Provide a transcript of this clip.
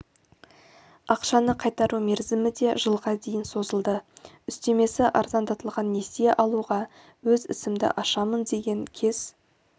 ақшаны қайтару мерзімі де жылға дейін созылды үстемесі арзандатылған несие алуға өз ісімді ашамын деген кез